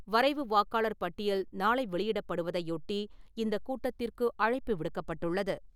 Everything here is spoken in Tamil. வரைவு வாக்காளர் பட்டியல் நாளை வெளியிடப்படுவதையொட்டி இந்த கூட்டத்திற்கு அழைப்பு விடுக்கப்பட்டுள்ளது.